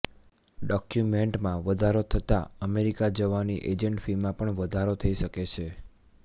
ડોક્યુમેન્ટમાં વધારો થતાં અમેરિકા જવાની અેજન્ટ ફીમાં પણ વધારો થઈ શકે છે